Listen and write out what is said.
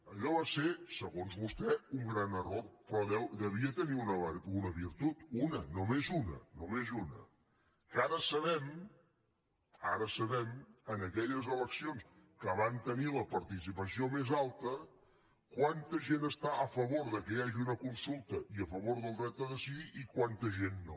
allò va ser segons vostè un gran error però devia tenir una virtut una només una només una que ara sabem ara ho sabem en aquelles eleccions que van tenir la participació més alta quanta gent està a favor que hi hagi una consulta i a favor del dret a decidir i quanta gent no